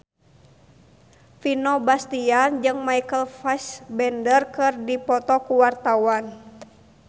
Vino Bastian jeung Michael Fassbender keur dipoto ku wartawan